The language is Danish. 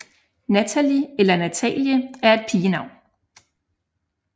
Nathalie eller Natalie er et pigenavn